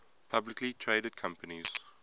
publicly traded companies